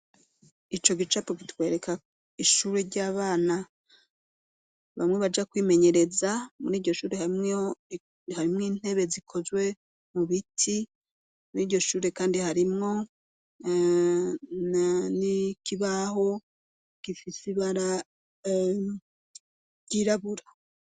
Ico gicapo kitwereka ishure ry'abana bamwe baja kwimenyereza muri iryo shure harimwo intebe zikozwe mu biti ,muri iryo shure kandi harimwo ikibaho gifiseibara ryirabura.